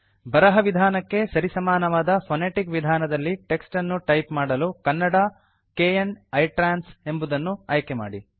ಬರಹ ವಿಧಾನಕ್ಕೆ ಸರಿಸಮಾನವಾದ ಫೊನೆಟಿಕ್ ವಿಧಾನದಲ್ಲಿ ಟೆಕ್ಸ್ಟ್ ಅನ್ನು ಟೈಪ್ ಮಾಡಲು ಕನ್ನಡ kn ಇಟ್ರಾನ್ಸ್ ಎಂಬುದನ್ನು ಆಯ್ಕೆ ಮಾಡಿ